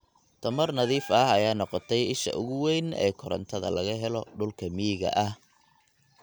Tamar nadiif ah ayaa noqotay isha ugu weyn ee korontada laga helo dhulka miyiga ah.